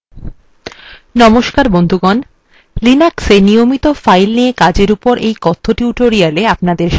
linuxএ নিয়মিত files নিয়ে কাজের উপর এই কথ্য tutorial এ অপনাদের স্বাগত